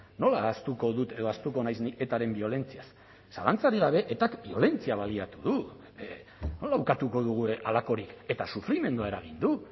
nola ahaztuko dut edo ahaztuko naiz ni etaren biolentziaz zalantzarik gabe etak biolentzia baliatu du nola ukatuko dugu halakorik eta sufrimendua eragiten du